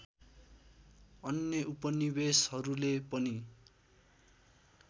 अन्य उपनिवेशहरूले पनि